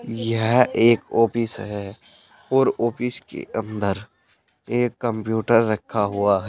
यह एक ऑफिस है और ऑफिस के अंदर एक कंप्यूटर रखा हुआ है।